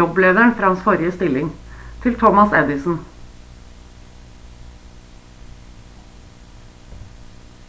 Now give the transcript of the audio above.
jobblederen fra hans forrige stilling til thomas edison